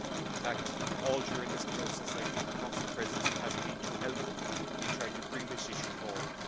In fact, all during this process I feel the Council Presidency has not been too helpful in trying to bring this issue forward.